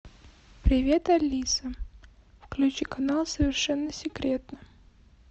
привет алиса включи канал совершенно секретно